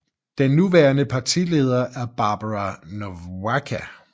Den nuværende partileder er Barbara Nowacka